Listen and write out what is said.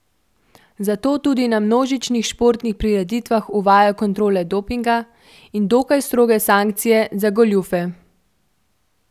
Zato tudi na množičnih športnih prireditvah uvajajo kontrole dopinga in dokaj stroge sankcije za goljufe.